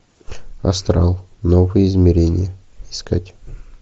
астрал новое измерение искать